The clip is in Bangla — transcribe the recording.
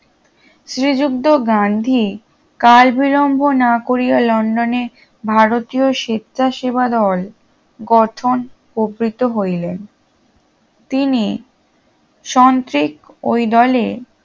শ্রীযুক্ত গান্ধী কালবিলম্ব না করিয়া লন্ডনে ভারতীয় স্বেচ্ছাসেবা দল গঠন উপনীত হইলেন তিনি সন্ত্রিক ওই দলে